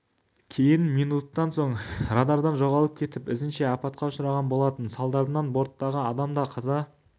кейін минуттан соң радардан жоғалып кетіп ізінше апатқа ұшыраған болатын салдарынан борттағы адам да қаза